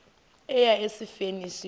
eya esifeni isifo